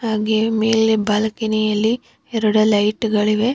ಹಾಗೆ ಮೇಲೆ ಬಾಲ್ಕನಿ ಅಲ್ಲಿ ಎರಡು ಲೈಟ್ ಗಳಿವೆ.